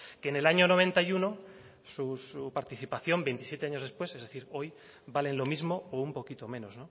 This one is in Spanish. que en el año noventa y uno su participación veintisiete años después es decir hoy valen lo mismo o un poquito menos